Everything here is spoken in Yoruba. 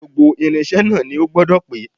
Gbogbo irinṣẹ́ náà ni ó gbọ́dọ̀ pé